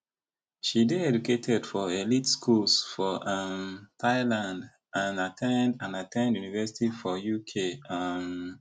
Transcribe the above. she dey educated for elite schools for um thailand and at ten d and at ten d university for uk um